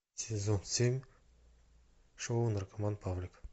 сезон семь шоу наркоман павлик